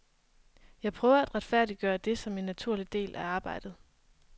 Jeg prøver at retfærdiggøre det som en naturlig del af arbejdet.